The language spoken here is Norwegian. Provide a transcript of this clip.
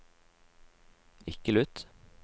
ikke lytt